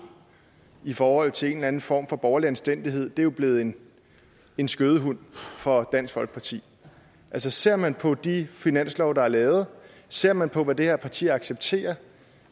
i forhold til en eller anden form for borgerlig anstændighed jo er blevet en en skødehund for dansk folkeparti altså ser man på de finanslove der er lavet ser man på hvad det her parti accepterer